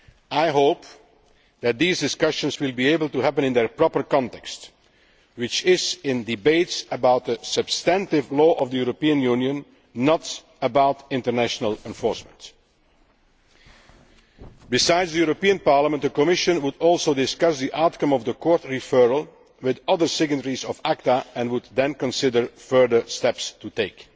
I hope that these discussions will be able to happen in their proper context which is in debates about the substantive law of the European Union, not about international enforcement. Besides the European Parliament, the Commission would also discuss the outcome of the Court referral with other signatories of ACTA and would then consider further steps to take.